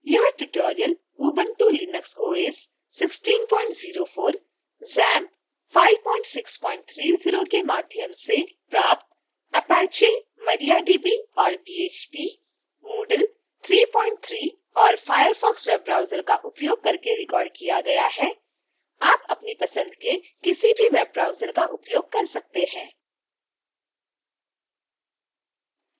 यह tutorial ubuntu linux os 1604